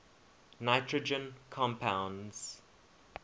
nitrogen compounds